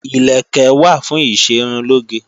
Ìlẹ̀kẹ̀ wà fún ìṣerunlóge